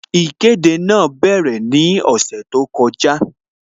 Ìkéde náà bẹ̀rẹ̀ ní ọ̀sẹ̀ tó kọjá